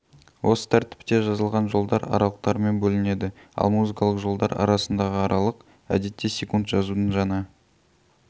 осы тәртіпте жазылған жолдар аралықтармен бөлінеді ал музыкалық жолдар арасындағы аралық әдетте секунд жазудың жаңа